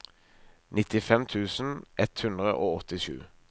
nittifem tusen ett hundre og åttisju